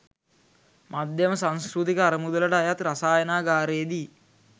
මධ්‍යම සංස්කෘතික අරමුදලට අයත් රසායනාගාරයේදී